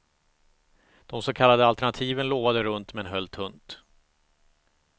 De så kallade alternativen lovade runt, men höll tunt.